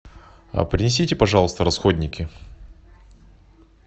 принесите пожалуйста расходники